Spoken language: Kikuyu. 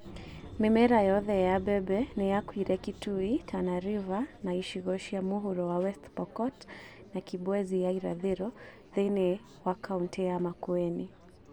Mĩmera yothe yam bembe nĩyakuire Kitui, Tana River, na icigo cia mũhuro wa West Pokot na Kibwezi ya irathĩro thĩiniĩ wa kauntĩ ya Makueni